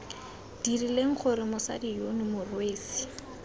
dirileng gore mosadi yono morwesi